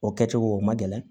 O kɛcogo o man gɛlɛn